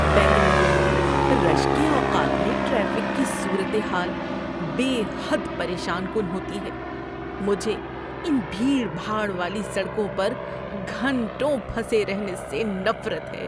بنگلور میں رش کے اوقات میں ٹریفک کی صورت حال بے حد پریشان کن ہوتی ہے۔ مجھے ان بھیڑ بھاڑ والی سڑکوں پر گھنٹوں پھنسے رہنے سے نفرت ہے۔